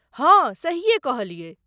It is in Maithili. हाँ, सहीये कहलियै।